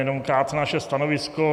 Jenom krátce naše stanovisko.